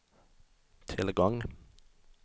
tillgång